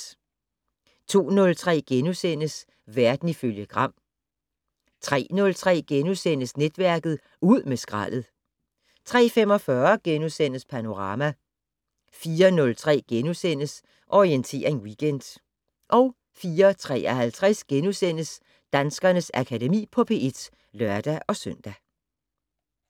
02:03: Verden ifølge Gram * 03:03: Netværket: Ud med skraldet * 03:45: Panorama * 04:03: Orientering Weekend * 04:53: Danskernes Akademi på P1 *(lør-søn)